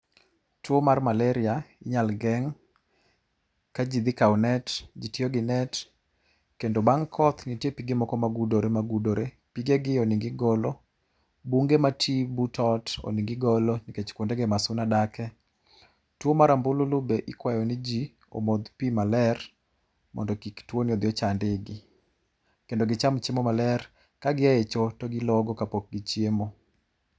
Tuo mar malari inyal geng ka jii dhi kao net, jii tiyo gi net kendo bang koth nitie pige ma gudore gudore, pige gi onego obed ni igolo, bunge ma ii but ot owinjo obe dni igolo nikech kuond ego ema suna dake. Tuo mar ambululu be ikwayo ni jii omodh pii maler mondo kik tuoni obi ochand ii gi kendo gicham chiemo maler, ka giaye choo to gilogo kapok gichiemo